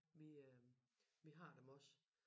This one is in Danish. Vi øh vi har dem også